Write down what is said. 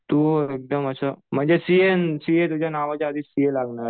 तू एकदम असं सीए तुझ्या नावाच्या आधी सीए लागणार.